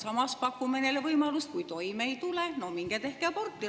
Samas pakume neile võimalust, et kui toime ei tule, siis minge tehke aborti.